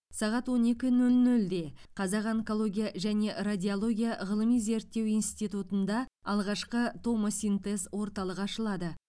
сағат он екі нөл нөлде қазақ онкология және радиология ғылыми зерттеу институтында алғашқы томосинтез орталығы ашылады